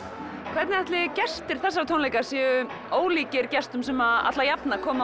hvernig ætli gestir þessara tónleika séu ólíkir þeim gestum sem alla jafna koma